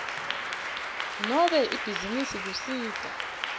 nobe ibhizinisi kusita